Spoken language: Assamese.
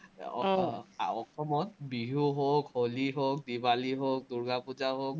অসমত বিহু হওক, হলি হওক, দিৱালী হওক, দূৰ্গাপুজা হওক,